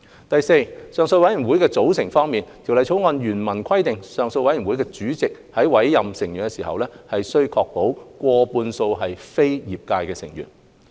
第四，上訴委員會的組成方面，《條例草案》原文規定上訴委員團主席在委任成員時，須確保上訴委員會成員過半數為非業界成員。